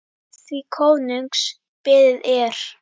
því konungs beðið er